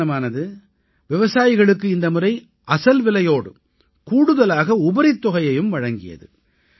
நிறுவனமானது விவசாயிகளுக்கு இந்த முறை அசல்விலையோடு கூடுதலாக உபரித் தொகையையும் வழங்கியது